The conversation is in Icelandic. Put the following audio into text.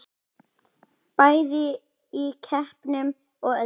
Bæði í keppnum og öðru.